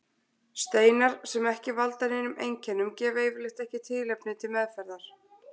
Steinar sem ekki valda neinum einkennum gefa yfirleitt ekki tilefni til meðferðar.